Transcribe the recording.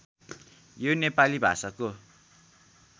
यो नेपाली भाषाको